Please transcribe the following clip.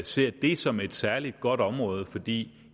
ser det som et særlig godt område fordi